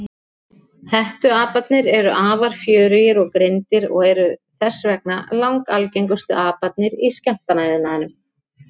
Hettuaparnir eru afar fjörugir og greindir og eru þess vegna langalgengustu aparnir í skemmtanaiðnaðinum.